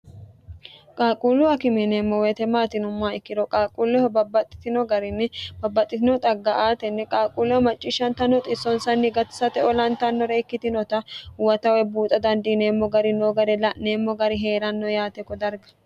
qaaqquullu akime yineemmoti weyete maati yinummo ikkiro qaaqquulleho babbaxxitino garinni babbaxxitino xagga aatenni qaaqquuleho macciishshanta noo xissonsanni gatisate olantannore ikkitinota huwata woy buuxa dandiineemmo gari noo gare la'neemmo gari hee'ranno yaate kodarga